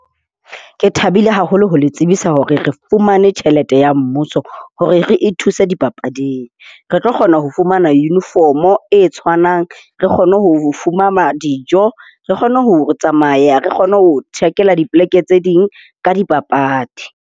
Ke thabile haholo ho le tsebisa hore re fumane tjhelete ya mmuso hore re ithuse dipapading. Re tlo kgona ho fumana uniform e tshwanang. Re kgone ho fumana dijo. Re kgone ho tsamaya. Re kgone ho tjhakela dipoleke tse ding ka dipapadi.